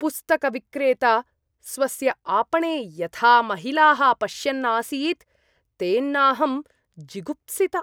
पुस्तकविक्रेता स्वस्य आपणे यथा महिलाः पश्यन् आसीत् तेनाहं जुगुप्सिता।